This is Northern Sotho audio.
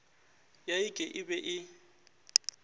ya ik e be e